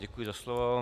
Děkuji za slovo.